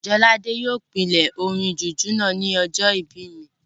Jolade yóò pílè orin jùjú náà ní ọjọ́ ìbí mi